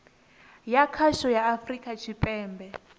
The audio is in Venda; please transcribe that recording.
ya khasho ya afurika tshipembe